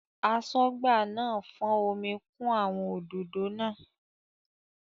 Aṣọ́gbà náà fọ́n omi kún àwọn òdòdó náà.